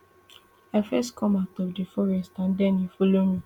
i first come out of di forest and den e follow me